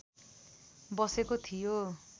बसेको थियो